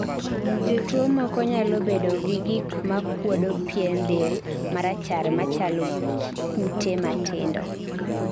jotuwo moko nyalo bedogi gikmakuodo pien del marachar machalo kite matindo